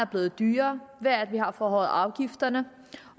blevet dyrere ved at vi har forhøjet afgifterne